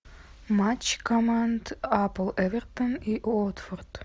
матч команд апл эвертон и уотфорд